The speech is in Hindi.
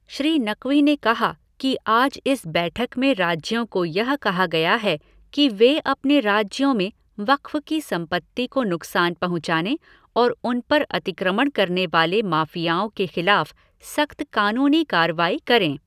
श्री नक़वी ने कहा कि आज इस बैठक में राज्यों को यह कहा गया है कि वे अपने राज्यों में वक़्फ़ की संपत्ति को नुकसान पहुँचाने और उन पर अतिक्रमण करने वाले माफ़ियाओं के खिलाफ़ सख़्त कानूनी कार्रवाई करें।